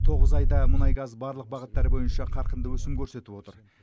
тоғыз айда мұнайгаз барлық бағыттар бойынша қарқынды өсім көрсетіп отыр